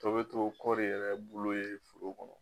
Tɔ bɛ to kɔɔri yɛrɛ bulu ye foro kɔnɔ.